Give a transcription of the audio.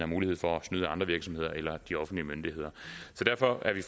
mulighed for at snyde andre virksomheder eller de offentlige myndigheder derfor er vi